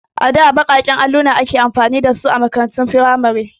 A da baƙaƙen alluna ake amfani da a makarantun firamare.